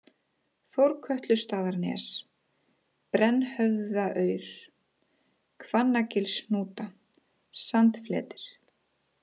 Þórkötlustaðanes, Brennhöfðaurð, Hvannagilshnúta, Sandfletir